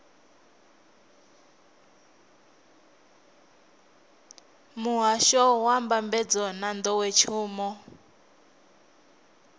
muhasho wa mbambadzo na nḓowetshumo